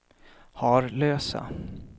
Harlösa